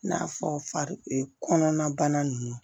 I n'a fɔ kɔnɔna bana ninnu